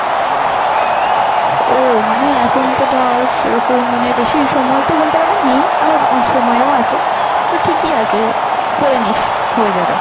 ও মানে এখন তো ধর সেরকম মানে বেশি সময় তো বলতে গেলে নেই, আবার অনেক সময় ও আছে। তো ঠিকই আছে করে নিস হয়ে যাবে।